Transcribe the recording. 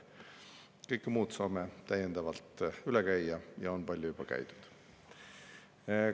Kõik muu saame täiendavalt üle käia ja on palju juba käidud ka.